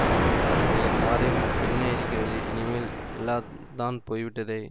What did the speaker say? நம்முடைய காரியம் என்ன இருக்கிறது இனிமேல் எல்லாந்தான் போய்விட்டதே